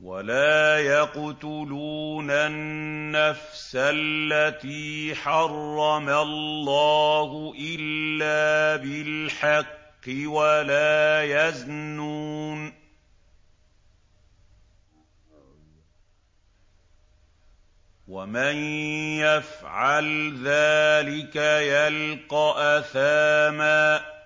وَلَا يَقْتُلُونَ النَّفْسَ الَّتِي حَرَّمَ اللَّهُ إِلَّا بِالْحَقِّ وَلَا يَزْنُونَ ۚ وَمَن يَفْعَلْ ذَٰلِكَ يَلْقَ أَثَامًا